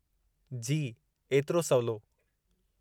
जी, एतिरो सवलो।